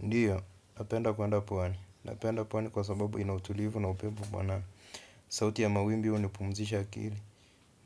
Ndiyo, napenda kwenda pwani. Napenda pwani kwa sababu ina utulivu na upepo mwanana. Sauti ya mawimbi huwa ina pumzisha akili